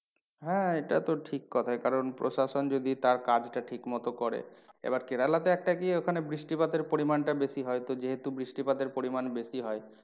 হ্যাঁ এটা তো ঠিক কথা কারণ প্রশাসন যদি তার কাজটা ঠিক মতো করে। এবার কেরেলাতে একটা কি ওখানে বৃষ্টিপাতের পরিমানটা বেশি হয় তো যেহেতু বৃষ্টিপাতের পরিমান বেশি হয়